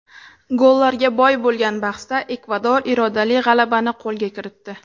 Gollarga boy bo‘lgan bahsda Ekvador irodali g‘alabani qo‘lga kiritdi.